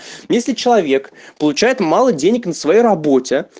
если человек получает мало денег на своей работе